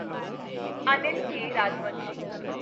Anil K. Rajvanshi